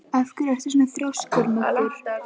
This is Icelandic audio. Af hverju ertu svona þrjóskur, Muggur?